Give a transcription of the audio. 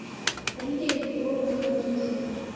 лидия петровна киршина